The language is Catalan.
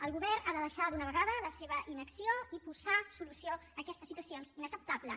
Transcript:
el govern ha de deixar d’una vegada la seva inacció i posar solució a aquesta situació inacceptable